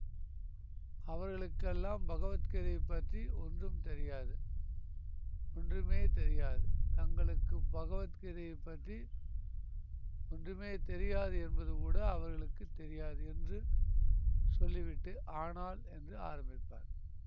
அவர்களுக்கெல்லாம் பகவத்கீதையைப் பற்றி ஒன்றும் தெரியாது ஒன்றுமே தெரியாது தங்களுக்குப் பகவத்கீதையைப் பற்றி ஒன்றுமே தெரியாது என்பதுகூட அவர்களுக்கு தெரியாது என்று சொல்லிவிட்டு ஆனால் என்று ஆரம்பிப்பார்